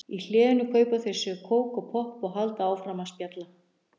Í hléinu kaupa þau sér kók og popp og halda áfram að spjalla.